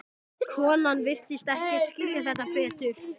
Hvernig líst Kolbeini á þá andstæðinga?